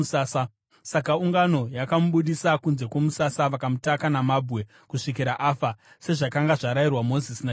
Saka ungano yakamubudisa kunze kwomusasa vakamutaka namabwe kusvikira afa, sezvakanga zvarayirwa Mozisi naJehovha.